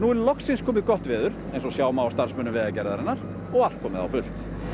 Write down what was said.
loksins komið eins og sjá má á starfsmönnum Vegagerðarinnar og allt komið á fullt